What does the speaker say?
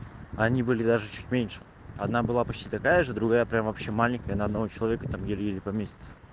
они были даже чуть меньше одна была почти такая же другая прямо вообще маленькая на одного человека там еле-еле поместится